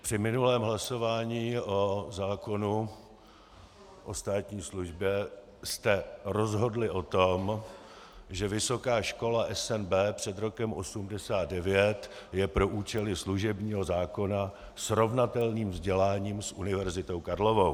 Při minulém hlasování o zákonu o státní službě jste rozhodli o tom, že Vysoká škola SNB před rokem 1989 je pro účely služebního zákona srovnatelným vzděláním s Univerzitou Karlovou.